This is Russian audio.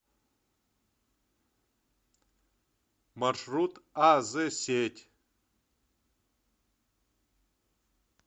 маршрут аз сеть